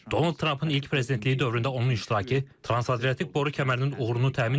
Donald Trampın ilk prezidentliyi dövründə onun iştirakı Trans-Adriatik Boru Kəmərinin uğurunu təmin edib.